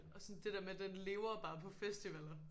Og sådan det der med den lever jo bare på festivaller